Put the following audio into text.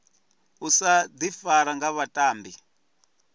u sa ifara nga vhatambi